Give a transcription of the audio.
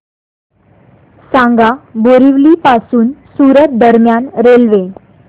सांगा बोरिवली पासून सूरत दरम्यान रेल्वे